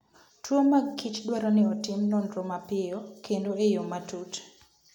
Tuwo mag kichdwaro ni otim nonro mapiyo kendo e yo matut.